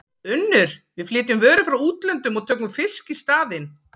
UNNUR: Við flytjum vörur frá útlöndum og tökum fisk í staðinn.